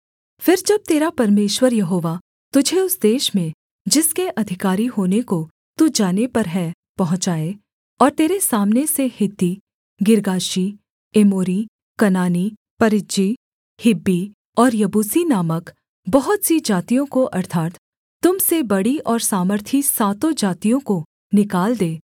फिर जब तेरा परमेश्वर यहोवा तुझे उस देश में जिसके अधिकारी होने को तू जाने पर है पहुँचाए और तेरे सामने से हित्ती गिर्गाशी एमोरी कनानी परिज्जी हिब्बी और यबूसी नामक बहुत सी जातियों को अर्थात् तुम से बड़ी और सामर्थी सातों जातियों को निकाल दे